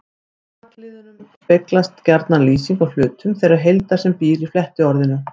Í bakliðnum speglast gjarna lýsing á hlutum þeirrar heildar sem býr í flettiorðinu.